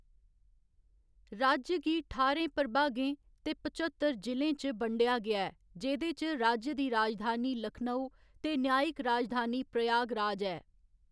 राज्य गी ठारें प्रभागें ते पच्चतर जि'लें च बंडेआ गेआ ऐ, जेह्‌‌‌दे च राज्य दी राजधानी लखनऊ ते न्यायिक राजधानी प्रयागराज ऐ।